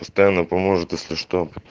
постоянно поможет если что